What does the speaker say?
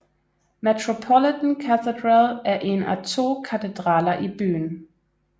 Metropolitan Cathedral er én af to katedraler i byen